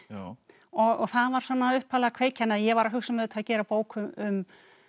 og og það var svona upphaflega kveikjan ég var að hugsa um auðvitað að gera bók um